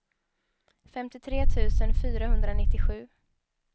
femtiotre tusen fyrahundranittiosju